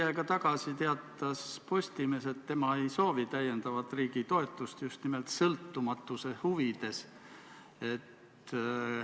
Veidi aega tagasi teatas Postimees, et tema ei soovi täiendavat riigitoetust just nimelt sõltumatuse huvides.